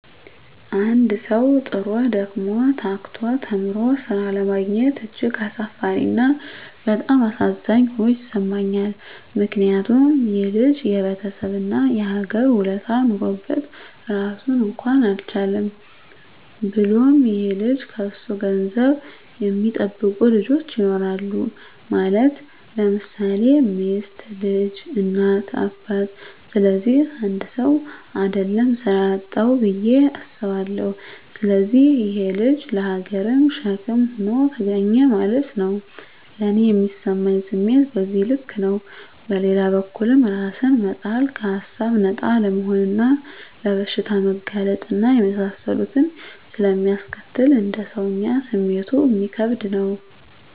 አንድ ሠዉ, ጥሮ: ደክሞ :ታክቶ ተምሮ ስራ አለማግኘት እጅግ አሳፋሪ እና በጣም አሳዛኝ ሆኖ ይሠማኛል ምክንያቱም :ይሄ ልጅ የቤተሠብ እና የሀገር ውለታ ኖሮበት ራሱን እንኳን አልቻለም። ብሎም ይሄ ልጅ ከሱ ገንዘብ የሚጠብቁ ልጆች ይኖራሉ ማለት _ለምሳሌ ሚስት: ልጅ: እናት :አባት ስለዚህ 1ሰው: አደለም ስራ ያጣዉ ብየ አስባለሁ። ስለዚህ ይሄ_ ልጅ ለሀገርም ሸክም ሆኖ ተገኘ ማለት ነዉ። ለኔ ሚሰማኝ ስሜት በዚህ ልክ ነው። በሌላ በኩልም እራስን መጣል ከሀሳብ ነፃ አለመሆንና ለበሽታ መጋለጥ እና የመሳሰሉትን ስለሚያስከትል: እንደ ሰወኛ ስሜቱ እሚከብድ ነው